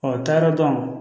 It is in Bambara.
n taara dɔn